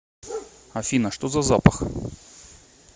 афина что за запах